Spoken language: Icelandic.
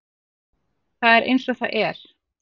Það er eins og það er